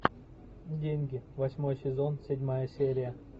деньги восьмой сезон седьмая серия